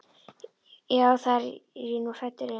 Já, það er ég nú hræddur um.